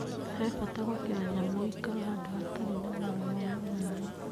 He bata gwakĩra nyamũ ũikaro handũ hatarĩ na mwaraho wa maaĩ.